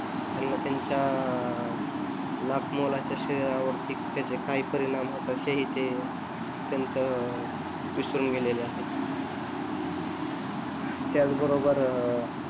त्यांना त्यांच्या लाखमोलाच्या शरीरावरती त्याचे काही परिणाम त्यांच विसरून गेलेले आहे त्याच बरोबर